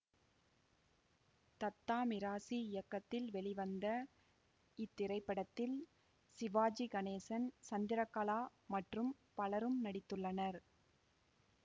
தத்தா மிராசி இயக்கத்தில் வெளிவந்த இத்திரைப்படத்தில் சிவாஜி கணேசன் சந்திரகலா மற்றும் பலரும் நடித்துள்ளனர்